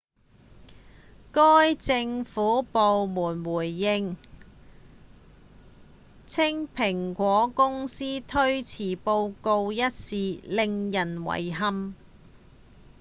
該政府部門回應稱蘋果公司推遲報告一事「令人遺憾」